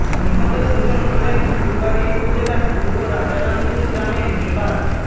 নিহত দুজন হলেন ফুলবাড়ী উপজেলার পূর্ব রাজারামপুর গ্রামের নিবাস